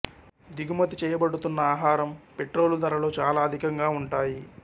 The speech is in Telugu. దిగుమతి చేయబడుతున్న ఆహారం పెట్రోలు ధరలు చాలా అధికంగా ఉంటాయి